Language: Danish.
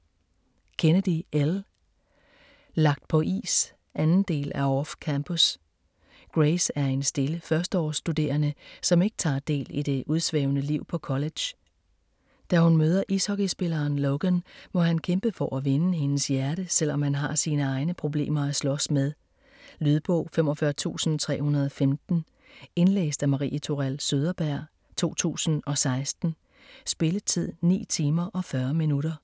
Kennedy, Elle: Lagt på is 2. del af Off-campus. Grace er en stille førsteårsstuderende, som ikke tager del i det udsvævende liv på college. Da hun møder ishockeyspilleren Logan, må han kæmpe for at vinde hendes hjerte, selvom han har sin egne problemer at slås med. Lydbog 45315 Indlæst af Marie Tourell Søderberg, 2016. Spilletid: 9 timer, 40 minutter.